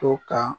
To ka